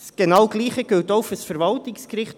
Dasselbe gilt für das Verwaltungsgericht: